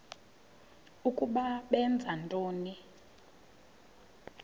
ukuba benza ntoni